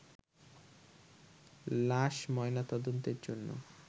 লাশ ময়নাতদন্তের জন্য